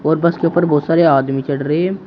और बस के ऊपर बहुत सारे आदमी चढ़ रहे हैं।